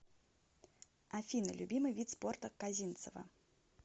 афина любимый вид спорта козинцева